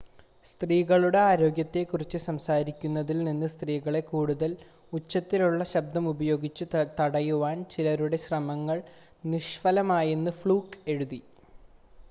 സ്ത്രീകളുടെ ആരോഗ്യത്തെ കുറിച്ച് സംസാരിക്കുന്നതിൽ നിന്ന് സ്ത്രീകളെ കൂടുതൽ ഉച്ചത്തിലുള്ള ശബ്‌ദം ഉപയോഗിച്ച് തടയുവാനുള്ള ചിലരുടെ ശ്രമങ്ങൾ നിഷ്‌ഫലമായിയെന്ന് ഫ്ലൂക്ക് എഴുതി